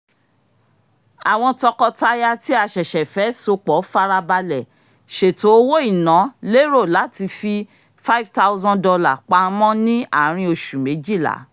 àwọn tọkọtaya tí a ṣẹ̀ṣẹ̀ fẹ́ sopọ farabalẹ̀ ṣètò owó-ìná lérò láti fi $5000 pamọ́ ní àárín oṣù méjìlá